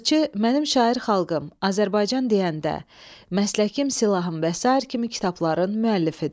Yazıçı Mənim şair xalqım, Azərbaycan deyəndə, Məsləkim silahım və sair kimi kitabların müəllifidir.